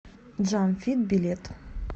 джам фит билет